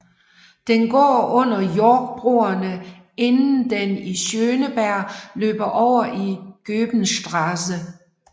Den går under Yorckbroerne inden den i Schöneberg løber over i Goebenstrasse